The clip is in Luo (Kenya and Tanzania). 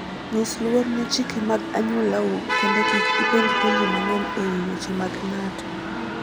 Nyis luor ne chike mag anyuolau kendo kik ipenj penjo mang'eny e wi weche mag ng'ato.